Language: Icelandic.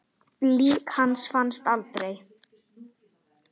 Lík hans fannst aldrei.